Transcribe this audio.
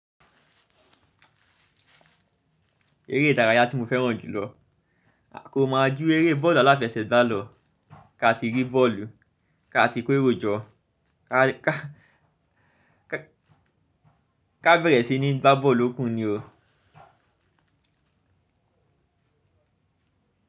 Eré ìdárayá tí mo fẹ́ràn jùlọ kò máa jú eré bọ́ọ̀lù aláfẹsẹ̀gbá lọ. Ká ti rí bọ́ọ̀lù, ká ti kó èrò jọ, ká, ká, ká, ká bẹ̀rẹ̀ sí ní gbá bọ́ọ̀lù Òkun ni o.